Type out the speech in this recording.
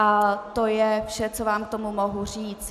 A to je vše, co vám k tomu mohu říct.